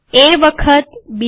એ વખત બી